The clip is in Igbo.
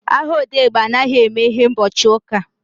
Ahịa odegba anaghị emeghe ụbọchị uka